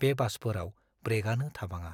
बे बासफोराव ब्रेकआनो थाबाङा।